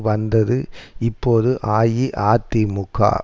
வந்தது இப்போது அஇஅதிமுக